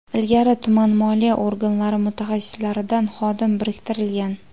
Ilgari tuman moliya organlari mutaxassislaridan xodim biriktirilgan.